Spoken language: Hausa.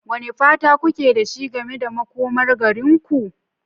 Wane fata kuke da shi game da makomar garinku?